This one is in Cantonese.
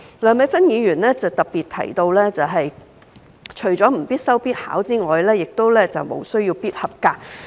梁美芬議員特別提出，通識科除了不應作為必修必考的核心科目外，也無須"必合格"。